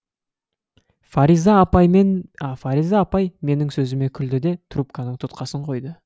фариза апай менің сөзіме күлді де трубканың тұтқасын қойды